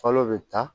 Fɔlɔ bɛ ta